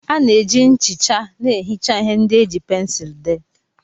A na-eji nchicha na-ehicha ihe ndị e ji pensụl dee.